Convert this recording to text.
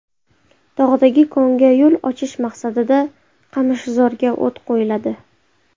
Tog‘dagi konga yo‘l ochish maqsadida qamishzorga o‘t qo‘yiladi.